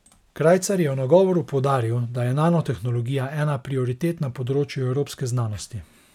Krajcar je v nagovoru poudaril, da je nanotehnologija ena prioritet na področju evropske znanosti.